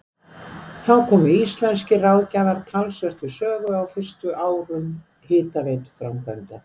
Þar komu íslenskir ráðgjafar talsvert við sögu á fyrstu árum hitaveituframkvæmda.